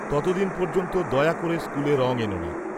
-ততদিন পর্যন্ত দয়া করে স্কুলে রং এনো না।